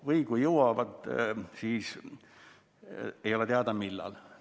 Või kui jõuab, siis ei ole teada, millal.